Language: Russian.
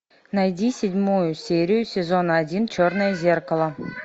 найди седьмую серию сезона один черное зеркало